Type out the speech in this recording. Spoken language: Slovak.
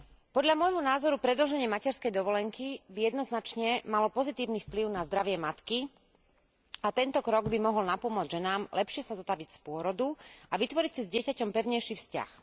Podľa môjho názoru predĺženie materskej dovolenky by jednoznačne malo pozitívny vplyv na zdravie matky a tento krok by mohol napomôcť ženám lepšie sa zotaviť z pôrodu a vytvoriť si s dieťaťom pevnejší vzťah.